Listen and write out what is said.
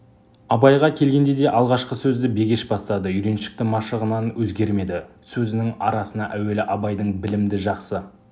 абайға келгенде де алғашқы сөзді бегеш бастады үйреншікті машығынан өзгермеді сөзінің арасына әуелі абайдың білімді жақсы